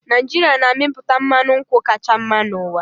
Naijiria na-amịpụta mmanụ nkwụ kacha mma n'ụwa